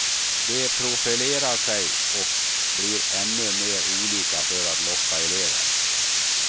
De profilerar sig och blir ännu mer olika för att locka elever.